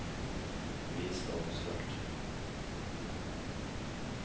vis statusfelt